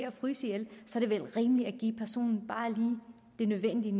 at fryse ihjel er det vel rimeligt at give personen lige det nødvendige